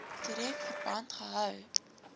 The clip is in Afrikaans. direk verband gehou